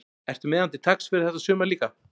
Ertu með hann til taks fyrir þetta sumar líka?